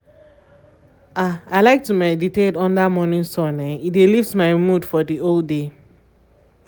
ah i like to meditate under um morning sun um e dey lift my mood for the whole day.